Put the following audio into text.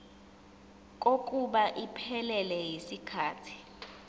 kokuba iphelele yisikhathi